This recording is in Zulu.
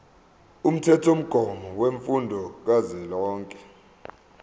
umthethomgomo wemfundo kazwelonke